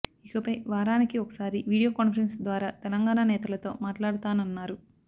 ఇకపై వారానికి ఒకసారి వీడియో కాన్ఫరెన్స్ ద్వారా తెలంగాణ నేతలతో మాట్లాడతానన్నారు